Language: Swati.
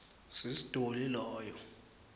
sis dolly loyo